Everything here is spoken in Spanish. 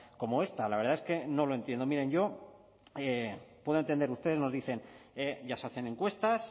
como esta la verdad es que no lo entiendo miren yo puedo entender ustedes nos dicen ya se hacen encuestas